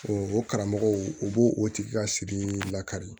O karamɔgɔw u b'o o tigi ka sigi lakari